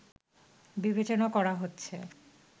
বিবেচনা করা হচ্ছে